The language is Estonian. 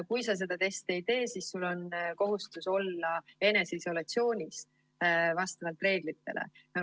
Kui sa seda testi ei tee, siis sul on kohustus olla eneseisolatsioonis vastavalt reeglitele.